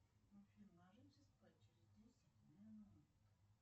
афина ложимся спать через десять минут